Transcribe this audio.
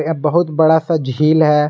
बहुत बड़ा सा झील है।